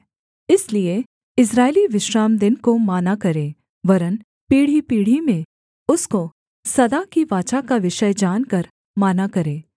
इसलिए इस्राएली विश्रामदिन को माना करें वरन् पीढ़ीपीढ़ी में उसको सदा की वाचा का विषय जानकर माना करें